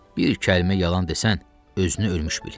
Bir kəlmə yalan desən, özünü ölmüş bil.